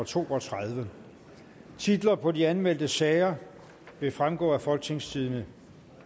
to og tredive titler på de anmeldte sager vil fremgå af folketingstidende